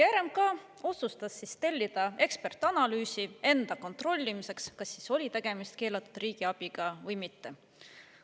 RMK otsustas tellida ekspertanalüüsi enda kontrollimiseks, kas oli tegemist keelatud riigiabiga või mitte.